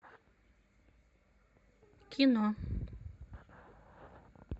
кино